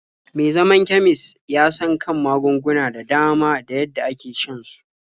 Me zaman kemis ya san kan magunguna da dama da yadda ake shan su.